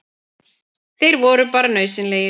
Þeir voru bara nauðsynlegir.